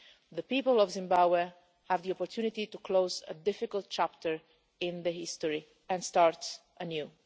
The people of Zimbabwe have the opportunity to close a difficult chapter in their history and start anew.